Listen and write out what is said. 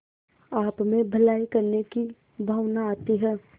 आपमें भलाई करने की भावना आती है